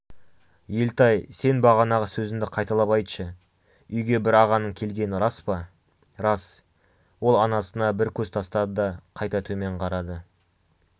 елтай сен бағанағы сөзіңді қайталап айтшы үйге бір ағаның келгені рас па рас ол анасына бір көз тастады да қайта төмен қарады